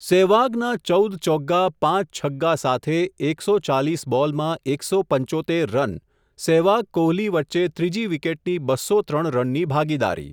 સેહવાગના ચૌદ ચોગ્ગા, પાંચ છગ્ગા સાથે એક સો ચાલીસ બોલમાં એક સો પંચોત્તેર રન, સેહવાગ કોહલી વચ્ચે ત્રીજી વિકેટની બસો ત્રણ રનની ભાગીદારી.